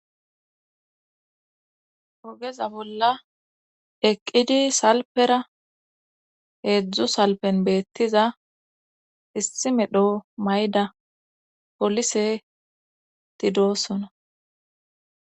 Ogeza bolla eqqidi salpera heedzdzu salpen beettiza issi medho mayda polise tidoosona.